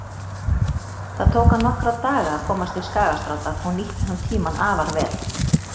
Það tók hann nokkra daga að komast til Skagastrandar og nýtti hann tímann afar vel.